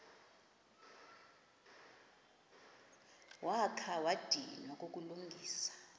wakha wadinwa kukulungisa